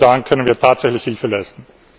Nur dann können wir tatsächlich Hilfe leisten.